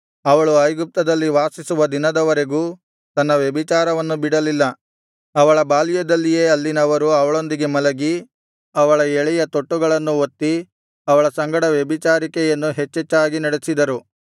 ಅವಳು ಐಗುಪ್ತದಲ್ಲಿ ವಾಸಿಸುವ ದಿನದವರೆಗೂ ತನ್ನ ವ್ಯಭಿಚಾರವನ್ನು ಬಿಡಲಿಲ್ಲ ಅವಳ ಬಾಲ್ಯದಲ್ಲಿಯೇ ಅಲ್ಲಿನವರು ಅವಳೊಂದಿಗೆ ಮಲಗಿ ಅವಳ ಎಳೆಯ ತೊಟ್ಟುಗಳನ್ನು ಒತ್ತಿ ಅವಳ ಸಂಗಡ ವ್ಯಭಿಚಾರಿಕೆಯನ್ನು ಹೆಚ್ಚೆಚ್ಚಾಗಿ ನಡೆಸಿದರು